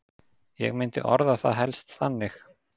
Ég myndi orða það helst þannig.